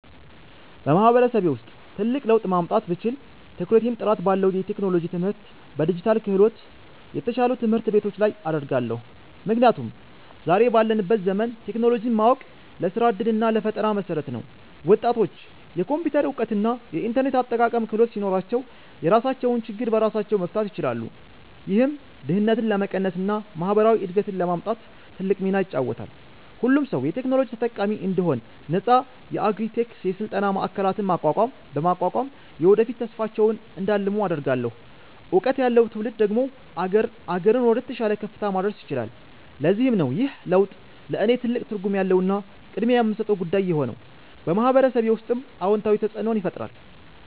በማህበረሰቤ ውስጥ ትልቅ ለውጥ ማምጣት ብችል፣ ትኩረቴን ጥራት ባለው የቴክኖሎጂ ትምህርትና በዲጂታል ክህሎት፣ የተሻሉ ትምህርት ቤቶች ላይ አደርጋለሁ። ምክንያቱም ዛሬ ባለንበት ዘመን ቴክኖሎጂን ማወቅ ለስራ ዕድልና ለፈጠራ መሠረት ነው። ወጣቶች የኮምፒውተር እውቀትና የኢንተርኔት አጠቃቀም ክህሎት ሲኖራቸው፣ የራሳቸውን ችግር በራሳቸው መፍታት ይችላሉ። ይህም ድህነትን ለመቀነስና ማህበራዊ እድገትን ለማምጣት ትልቅ ሚና ይጫወታል። ሁሉም ሰው የቴክኖሎጂ ተጠቃሚ እንዲሆን ነፃ የአግሪ -ቴክ የስልጠና ማዕከላትን በማቋቋም፣ የወደፊት ተስፋቸውን እንዲያልሙ አደርጋለሁ። እውቀት ያለው ትውልድ ደግሞ አገርን ወደተሻለ ከፍታ ማድረስ ይችላል። ለዚህም ነው ይህ ለውጥ ለእኔ ትልቅ ትርጉም ያለውና ቅድሚያ የምሰጠው ጉዳይ የሆነው፤ በማህበረሰቤ ውስጥም አዎንታዊ ተፅእኖን ይፈጥራል።